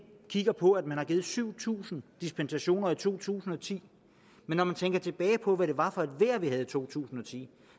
kigger på at der er givet syv tusind dispensationer i to tusind og ti men når man tænker tilbage på hvad det var for et vejr vi havde i to tusind og ti